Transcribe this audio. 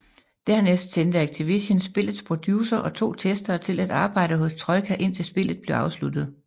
Dernæst sendte Activision spillets producer og to testere til at arbejde hos Troika indtil spillet blev afsluttet